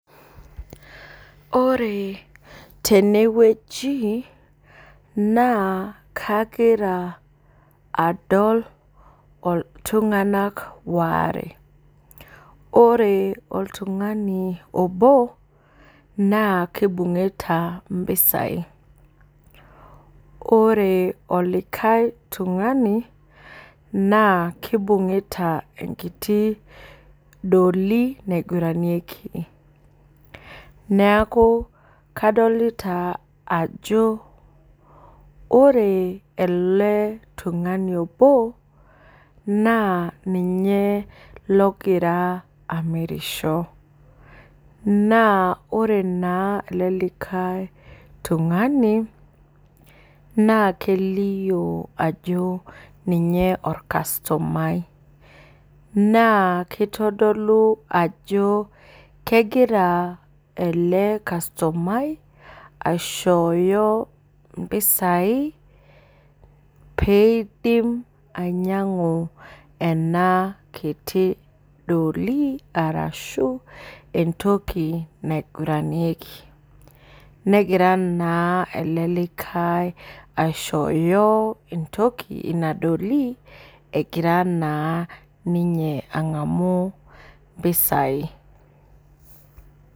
Ore teneweji naa kagira adol iltung'ana waare. Ore oltung'ani obo na kibung'ita impesai ore olikae tung'ani naa kibung'ita inkiti dolly naiguranieki. Neeku kadolita ajo ore ele tung'ani obo naa ninye logira amirisho. Naa ore naa ele likae tungani na kelio ajo ninye orcustomai. Naa kitodolu ajo kegira ele customai aishoyo mpesai peidim ainyang'u ena kitii dolly arashu entoki naiguranieki. Negira naa ele likae aishoyo entoki ina dolly egira naa ninye ang'amu impesai